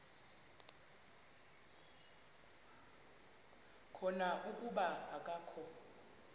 khona kuba akakho